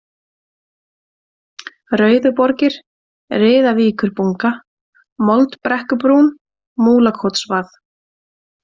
Rauðuborgir, Riðavíkurbunga, Moldbrekkubrún, Múlakotsvað